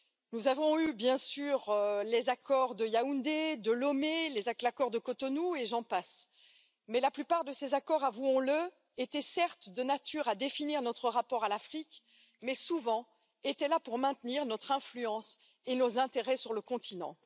Nous avons eu, bien sûr, les accords de Yaoundé et de Lomé, l'accord de Cotonou, et j'en passe, mais la plupart de ces accords, avouons le, étaient certes de nature à définir notre rapport à l'Afrique, mais surtout souvent là pour maintenir notre influence et nos intérêts sur le continent.